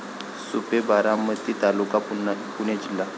सुपे, बारामती तालुका. पुणे जिल्हा